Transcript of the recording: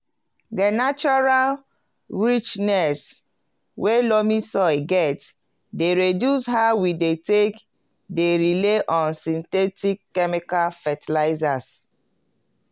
di natural richness wey loamy soil get dey reduce how we dey take dey rely on synthetic chemical fetilizers